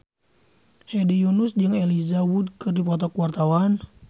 Hedi Yunus jeung Elijah Wood keur dipoto ku wartawan